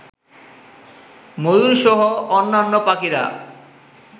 ময়ূরসহ অন্যান্য পাখিরা